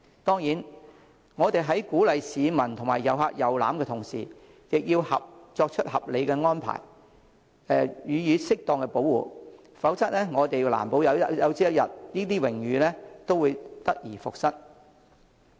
當然，我們在鼓勵市民及旅客遊覽時，亦要作合理安排，予以適當保護，否則難保有朝一日，這些榮譽也會得而復失。